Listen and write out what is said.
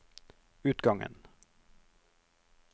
utgangen